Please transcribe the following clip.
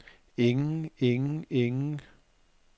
ingen ingen ingen